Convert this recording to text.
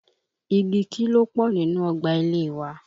Igi kí ló pọ̀ nínú ọgbà ilé e wa?